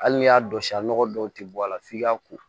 Hali n'i y'a don sa nɔgɔ dɔw tɛ bɔ a la f'i ka ko